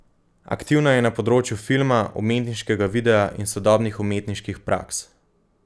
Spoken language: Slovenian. Aktivna je na področju filma, umetniškega videa in sodobnih umetniških praks.